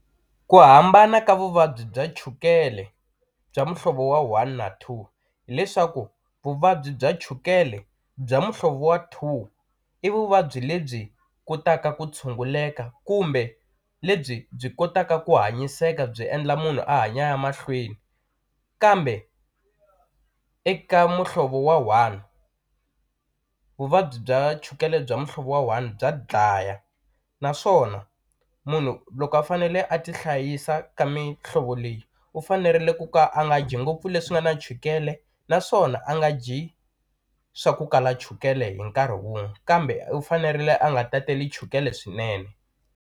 Ku hambana ka vuvabyi bya chukele bya muhlovo wa one na two hileswaku vuvabyi bya chukele bya muhlovo wa two i vuvabyi lebyi kotaka ku tshunguleka kumbe lebyi byi kotaka ku hanyiseka byi endla munhu a hanya a ya mahlweni kambe eka muhlovo wa one vuvabyi bya chukele bya muhlovo wa one bya dlaya naswona munhu loko a fanele a ti hlayisa ka mihlovo leyi u fanerile ku ka a nga dyi ngopfu leswi nga na chukele naswona a nga dyi swa ku kala chukele hi nkarhi wun'we kambe u fanerile a nga tateli chukele swinene.